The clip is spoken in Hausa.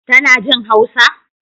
Tana jin Hausa?